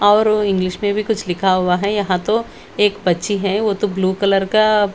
और वो इंग्लिश में भी कुछ लिखा हुआ है यहाँ तो एक बच्ची है वो तो ब्लू कलर का--